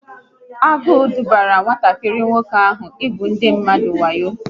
Anyaukwu dubara nwatakịrị nwoke ahụ n'ugwu ndị mmadụ wayo